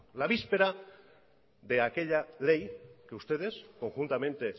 la víspera de aquella ley que ustedes conjuntamente